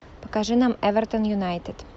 покажи нам эвертон юнайтед